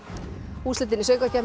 úrslitin í Söngvakeppni